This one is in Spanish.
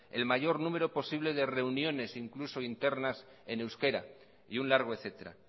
el mayor número de reuniones incluso internas en euskera y un largo etcétera